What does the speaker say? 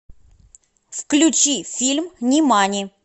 включи фильм нимани